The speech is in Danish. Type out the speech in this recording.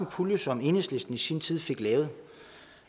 pulje som enhedslisten i sin tid fik lavet